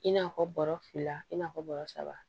I n'a fɔ bɔrɔ fila i n'a fɔ bɔrɔ saba